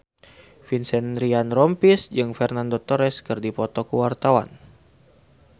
Vincent Ryan Rompies jeung Fernando Torres keur dipoto ku wartawan